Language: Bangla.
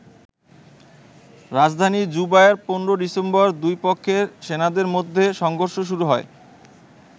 রাজধানী জুবায় ১৫ ডিসেম্বর দুই পক্ষের সেনাদের মধ্যে সংঘর্ষ শুরু হয়।